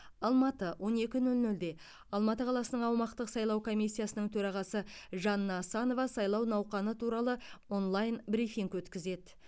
алматы он екі нөл нөлде алматы қаласының аумақтық сайлау комиссиясының төрағасы жанна асанова сайлау науқаны туралы онлайн брифинг өткізеді